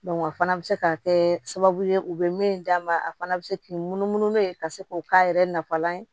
o fana bɛ se ka kɛ sababu ye u bɛ min d'a ma a fana bɛ se k'i munumunu n'o ye ka se k'o k'a yɛrɛ nafalan ye